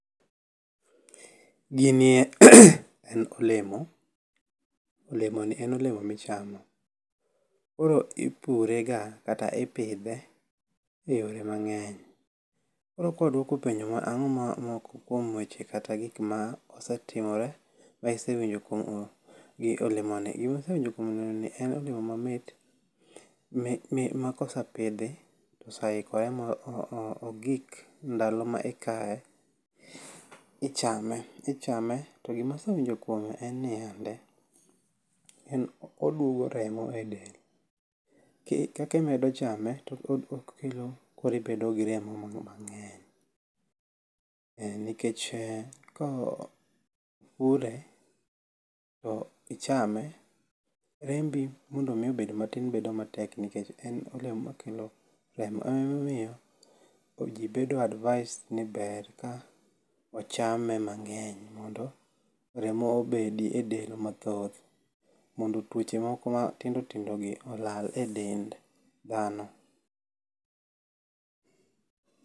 Gini en olemo. Olemo ni en olemo michamo. Koro ipure ga kata ipidhe e yore mang'eny. Koro kwa dwoko penjo ang’o ma moko kuom weche kata gik ma osetimore ma isewinjo kuom olemo ni? Gima asewinjo kuom olemo ni en olemo mamit ma kosepidhi to ose ikore ma ogik ndalo ma ikaye, ichame. To gima asewinjo kuome en niya nde oduogo remo e del. Kaka imedo chame to oeklo koro ibedo gi remo mang'eny. Nikech kopure to ichame rembi mondo mi obed matin bedo matek nikech en olemo makelo remo. E momiyo ji bedo advised ni ber ka ochame mang'eny mondo remo obedi e del mathoth. Mondo tuoche moko matindo tindo gi olal e dend dhano.